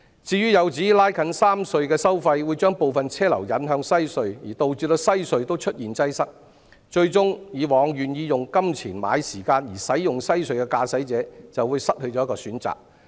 至於有指拉近三隧收費會把部分車流引向西隧，導致西隧也出現擠塞，最終以往願意用金錢買時間而使用西隧的駕駛者，就會失去了一個選擇。